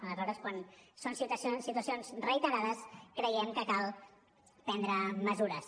aleshores quan són situacions reiterades creiem que cal prendre mesures